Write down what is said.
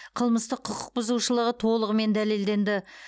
қылмыстық құқықбұзушылығы толығымен дәлелденді